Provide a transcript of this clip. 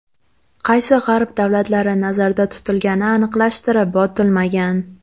Qaysi G‘arb davlatlari nazarda tutilgani aniqlashtirib o‘tilmagan.